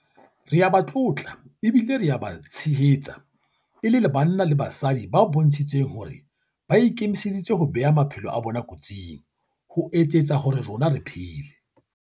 Re a ba tlotla ebile re a ba tshehetsa e le banna le basadi ba bontshitseng hore ba ikemiseditse ho bea maphelo a bona kotsing ho etsetsa hore rona re phele.